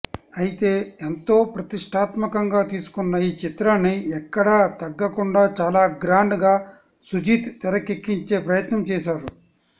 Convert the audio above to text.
అయితే ఎంతో ప్రతిష్టాత్మకంగా తీసుకున్న ఈ చిత్రాన్ని ఎక్కడా తగ్గకుండా చాలా గ్రాండ్ గా సుజీత్ తెరకెక్కించే ప్రయత్నం చేసారు